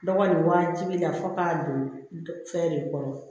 Dɔgɔ nin wajibi la fo k'a don fɛn de kɔrɔ